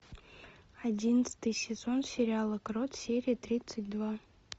одиннадцатый сезон сериала крот серия тридцать два